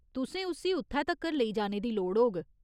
तुसें उस्सी उत्थै तक्कर लेई जाने दी लोड़ होग।